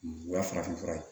O ya farafin fura ye